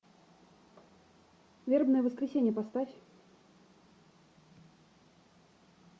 вербное воскресенье поставь